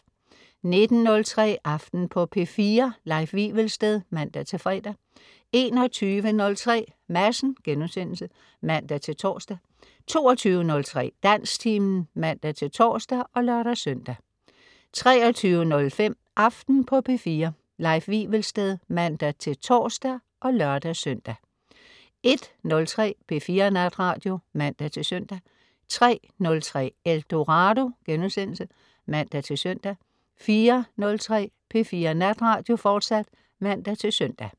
19.03 Aften på P4. Leif Wivelsted (man-fre) 21.03 Madsen* (man-tors) 22.03 Dansktimen (man-tors og lør-søn) 23.05 Aften på P4. Leif Wivelsted (man-tors og lør-søn) 01.03 P4 Natradio (man-søn) 03.03 Eldorado* (man-søn) 04.03 P4 Natradio, fortsat (man-søn)